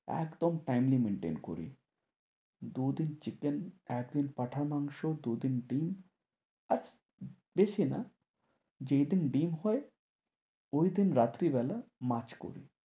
একদম timely maintain করি। দুদিন chicken, একদিন পাঁঠার মাংস, দুদিন ডিম আর বেশি না, যেই দিন ডিম হয় ঐদিন রাত্রিবেলা মাছ করি।